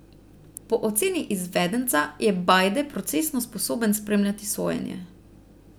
Po oceni izvedenca je Bajde procesno sposoben spremljati sojenje.